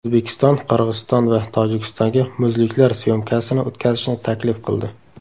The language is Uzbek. O‘zbekiston Qirg‘iziston va Tojikistonga muzliklar syomkasini o‘tkazishni taklif qildi.